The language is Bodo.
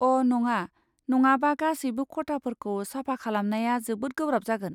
अ' नङा, नङाबा गासैबो खथाफोरखौ साफा खालामनाया जोबोद गोब्राब जागोन।